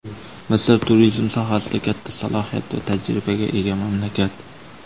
Misr turizm sohasida katta salohiyat va tajribaga ega mamlakat.